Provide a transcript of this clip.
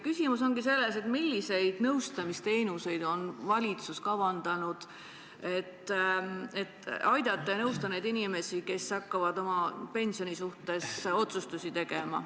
Küsimus ongi selles, milliseid nõustamisteenuseid on valitsus kavandanud, et aidata inimesi, kes hakkavad oma pensioni puudutavaid otsustusi tegema.